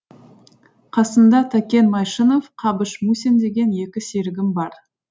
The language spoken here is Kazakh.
қасымда тәкен майшынов қабыш мусин деген екі серігім бар